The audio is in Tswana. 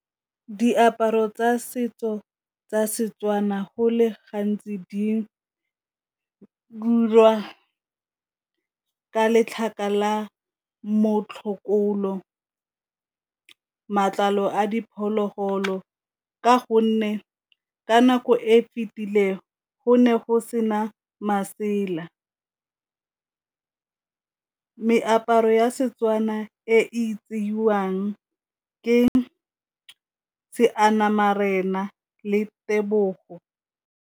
Diaparo tsa setso tsa Setswana go le gantsi di ka letlhaka la motlhokolo, matlalo a diphologolo. Ka gonne ka nako e fetile go ne go sena masela, meaparo ya Setswana e tsewang ke seanamarena le tebogo.